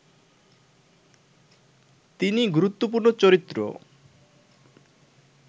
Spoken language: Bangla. তিনি গুরুত্বপূর্ণ চরিত্র